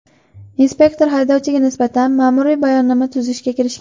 Inspektor haydovchiga nisbatan ma’muriy bayonnoma tuzishga kirishgan.